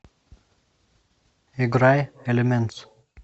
играй элементс